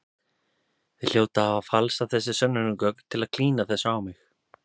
Þið hljótið að hafa falsað þessi sönnunargögn til að klína þessu á mig.